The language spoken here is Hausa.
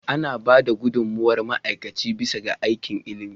Ana ba da gudummawar ma'aikaci bisa ga aikin ilimi.